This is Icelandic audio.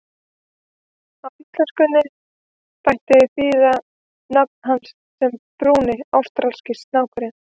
Á íslensku mætti þýða nafn hans sem Brúni ástralski snákurinn.